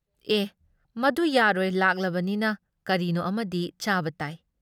ꯑꯦ ꯃꯗꯨ ꯌꯥꯔꯣꯏ ꯂꯥꯛꯂꯕꯅꯤꯅ, ꯀꯔꯤꯅꯣ ꯑꯃꯗꯤ ꯆꯥꯕ ꯇꯥꯏ ꯫